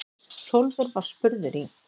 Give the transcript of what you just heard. Hrólfur var spurður í